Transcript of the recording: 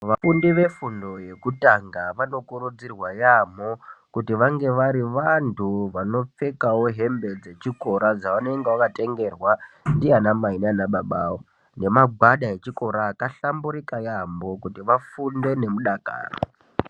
Vafundi vefundo yekutanga vanokurudzirwa yambo kuti vave vari vantu vanopfekawo hembe dzechikora dzavanenge vakatengerwa ndiana Mai nana baba awo nemagwada echikora akahlamburuka yambo kuti vafunde nemudakaro.